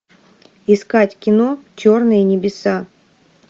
искать кино черные небеса